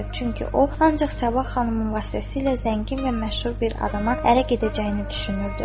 Çünki o ancaq Sabah xanımın vasitəsilə zəngin və məşhur bir adama ərə gedəcəyini düşünürdü.